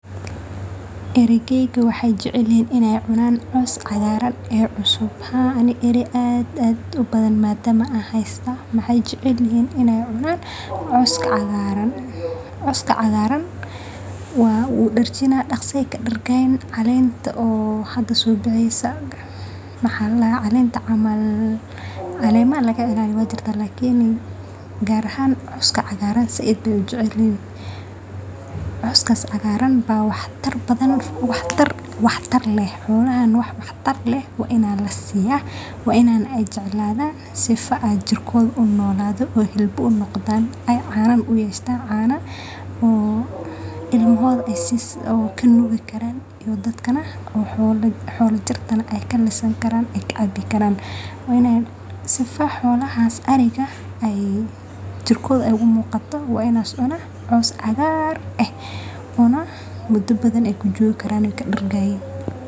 arigayga waxay jecel yihiin inay cunaan caws cagaaran ee cusub